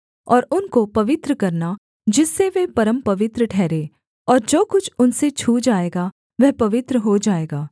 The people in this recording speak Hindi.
और उनको पवित्र करना जिससे वे परमपवित्र ठहरें और जो कुछ उनसे छू जाएगा वह पवित्र हो जाएगा